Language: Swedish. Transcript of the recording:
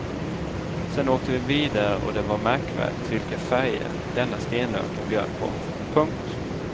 Sen åkte vi vidare och det var märkvärdigt vilka färger denna stenöken bjöd på. punkt